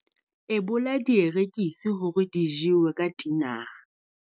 Ebola dierekisi hore di jewe ka tinara.